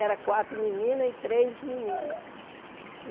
Era quatro meninas e três meninos.